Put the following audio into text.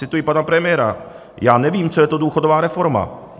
Cituji pana premiéra: "Já nevím, co je to důchodová reforma.